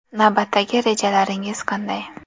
Navbatdagi rejalaringiz qanday?